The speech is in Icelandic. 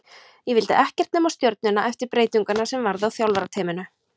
Ég vildi ekkert nema Stjörnuna eftir breytinguna sem varð á þjálfarateyminu.